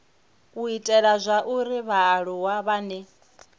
u ita zwauri vhaaluwa vhane